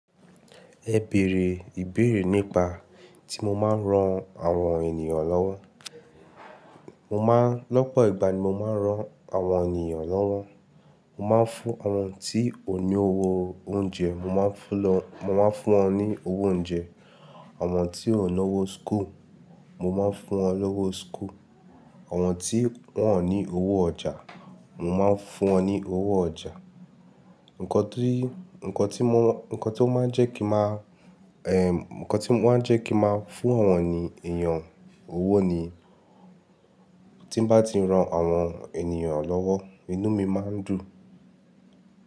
Ẹ bèrè ìbéèrè nípa tí mo máa ń ran àwọn ènìyàn lọ́wọ́. Mo máa ń lọ́pọ̀ ìgbà ni mo máa ń ran àwọn ènìyàn lọ́wọ́. Mo máa ń fún àwọn tí kò ní owó oúnjẹ, mo máa ń fún lọ, mo máa ń fún wọn ní owó oúnjẹ. Àwọn tí kò ní owó school, mo máa ń fún wọn lówó school. Àwọn tí wọ́n ò ní owó ọjà, mo máa ń fún wọn ní owó ọjà. Ǹkọ tí, ǹkan tí mo, ǹkan tí ó máa ń jẹ́ kí màá, eh, ǹkan tí ó máa ń jẹ́ kí màá fún àwọn ènìyàn owó ni tí n bá ti ń ran àwọn ènìyàn lọ́wọ́, inú mi máa ń dùn.